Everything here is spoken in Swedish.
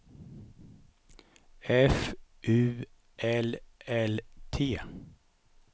F U L L T